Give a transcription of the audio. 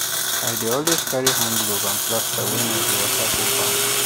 i dey always carry hand glove and plaster when i dey waka go farm